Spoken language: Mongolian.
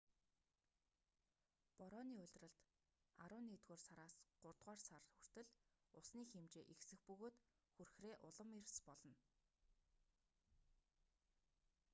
борооны улиралд арван нэгдүгээр сараас гуравдугаар сар усны хэмжээ ихсэх бөгөөд хүрхрээ улам эрс болно